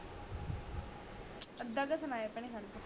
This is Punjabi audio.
ਅਧਾ ਤਾ ਸੁਣਾਯਾ ਭੈਣੇ ਖੜਜਾ